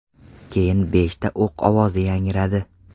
Keyin beshta o‘q ovozi yangradi .